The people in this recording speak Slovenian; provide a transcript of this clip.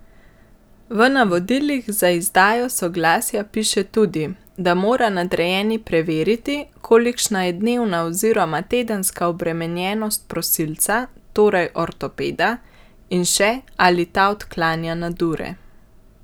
V navodilih za izdajo soglasja piše tudi, da mora nadrejeni preveriti, kolikšna je dnevna oziroma tedenska obremenjenost prosilca, torej ortopeda, in še, ali ta odklanja nadure.